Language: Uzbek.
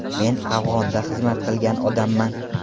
Men Afg‘onda xizmat qilgan odamman.